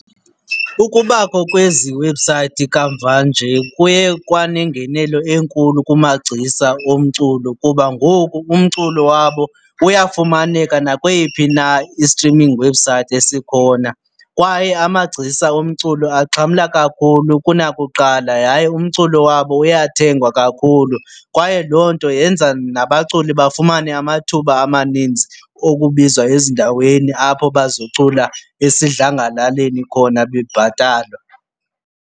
Ukubakho kwezi website kamva nje kuye kwanengenelo enkulu kumagcisa omculo kuba ngoku umculo wabo uyafumaneka nakweyiphi na i-streaming website esikhona kwaye amagcisa omculo axhamla kakhulu kunakuqala yaye umculo wabo uyathengwa kakhulu. Kwaye loo nto yenza nabaculi bafumane amathuba amanintsi okubizwa ezindaweni apho bazocula esidlangalaleni khona bebhatalwa.